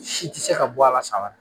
Si te se ka bɔ ala san wɛrɛ